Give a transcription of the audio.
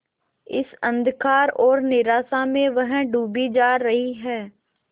इस अंधकार और निराशा में वह डूबी जा रही है